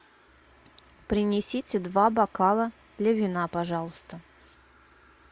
принесите два бокала для вина пожалуйста